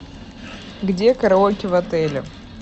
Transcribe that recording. где караоке в отеле